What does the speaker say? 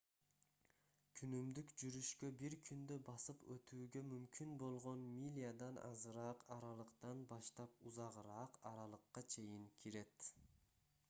күнүмдүк жүрүшкө бир күндө басып өтүүгө мүмкүн болгон милядан азыраак аралыктан баштап узагыраак аралыкка чейин кирет